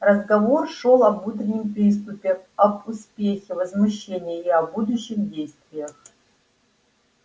разговор шёл об утреннем приступе об успехе возмущения и о будущих действиях